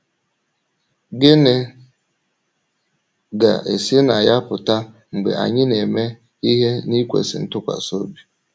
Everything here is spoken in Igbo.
Gịnị ga-esi na ya apụta mgbe anyị ‘na-eme ihe n’ikwèsị ntụkwàsị obi’?